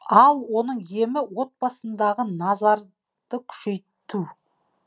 ал оның емі отбасындағы назарды күшейту